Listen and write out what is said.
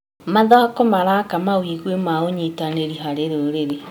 Mathako maraka mawĩgwi ma ũnyitanĩri harĩ rũrĩrĩ.